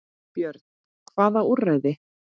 Björn: Hvaða úrræði?